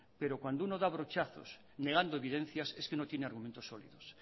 pero cuando uno da brochazos negando evidencias es que no tiene argumentos sólidos